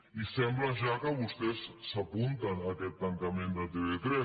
i sembla ja que vostès s’apunten a aquest tancament de tv3